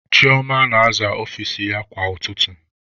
Chioma na-aza ọfici ya kwa ụtụtụ.